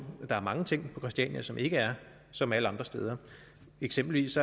at der er mange ting på christiania som ikke er som alle andre steder eksempelvis